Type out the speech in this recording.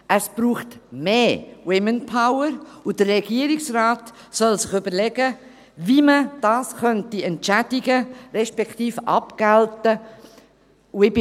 Es braucht mehr «Womenpower» und der Regierungsrat soll sich überlegen, wie man das entschädigen respektive abgelten könnte.